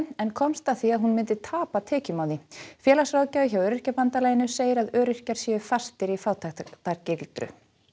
en komst að því að hún myndi tapa tekjum á því félagsráðgjafi hjá Öryrkjabandalaginu segir að öryrkjar séu fastir í fátæktargildru